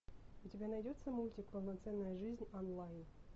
у тебя найдется мультик полноценная жизнь онлайн